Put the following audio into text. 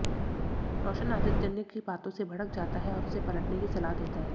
रोशन आदित्यन की बातों से भड़क जाता है और उसे पलटने की सलाह देता है